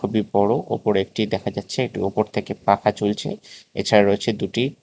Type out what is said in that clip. খুবই বড় ওপরে একটি দেখা যাচ্ছে একটি ওপর থেকে পাখা ঝুলছে এছাড়া রয়েছে দুটি --